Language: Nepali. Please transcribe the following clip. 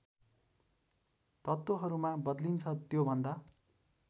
तत्त्वहरूमा बदलिन्छ त्योभन्दा